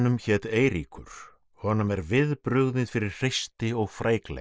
hét Eiríkur honum er viðbrugðið fyrir hreysti og